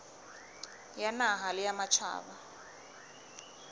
ya naha le ya matjhaba